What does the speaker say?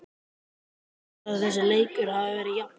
Þú heldur að þessi leikur hafi verið jafn?